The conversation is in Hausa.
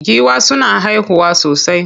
Giwa suna haihuwa sosai.